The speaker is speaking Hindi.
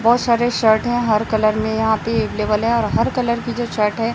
बहोत सारे शर्ट और हर कलर में यहाँ पे अवेलेबल है और हर कलर की जो शर्ट है।